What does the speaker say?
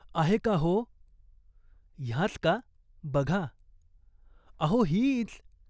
"आहे का हो ?" "ह्याच का, बघा." "अहो हीच.